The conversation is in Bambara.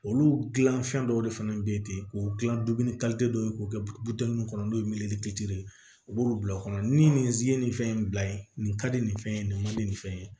Olu dilan fɛn dɔw de fɛnɛ bɛ ye ten o gilan dɔ ye k'o kɛ buton nunnu kɔnɔ n'o ye ye u b'olu bila o kɔnɔ ni nin si ye nin fɛn in bila yen nin ka di nin fɛn ye nin ma di nin fɛn in ye